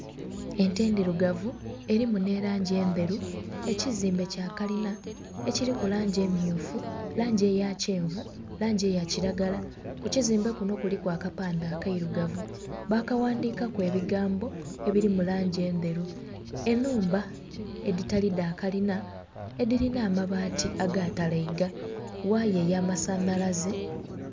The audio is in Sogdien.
Ente endhirugavu erimu n'erangi endheru. Ekizimbe kya kalina ekiriku langi emmyufu, langi eya kyenvu, langi eya kiragala. Ku kizimbe kuno kuliku akapande akairugavu bakaghandhikaku ebigambo ebiri mu langi endheru. Ennhumba edhitali dha kalina edhirina amabaati agaatalaiga. Waaya eya masanhalaze...